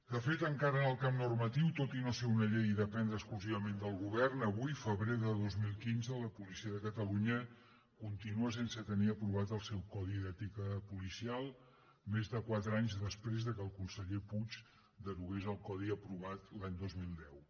de fet encara en el camp normatiu tot i no ser una llei i dependre exclusivament del govern avui febrer de dos mil quinze la policia de catalunya continua sense tenir aprovat el seu codi d’ètica policial més de quatre anys després que el conseller puig derogués el codi aprovat l’any dos mil deu